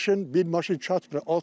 Bir maşın, bir maşın çatmır.